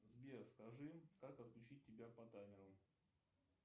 сбер скажи как отключить тебя по таймеру